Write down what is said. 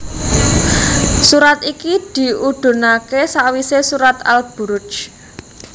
Surat iki diudhunaké sawisé surat Al Buruj